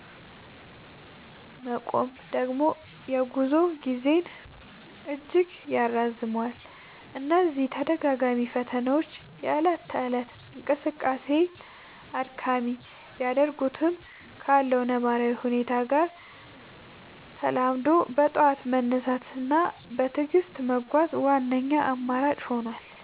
መቆም ደግሞ የጉዞ ጊዜን እጅግ ያራዝመዋል። እነዚህ ተደጋጋሚ ፈተናዎች የእለት ተእለት እንቅስቃሴን አድካሚ ቢያደርጉትም፣ ካለው ነባራዊ ሁኔታ ጋር ተላምዶ በጠዋት መነሳት እና በትዕግስት መጓዝ ዋነኛው አማራጭ ሆኗል።